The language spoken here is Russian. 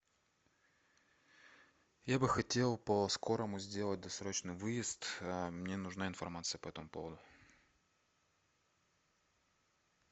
я бы хотел по скорому сделать досрочный выезд мне нужна информация по этому поводу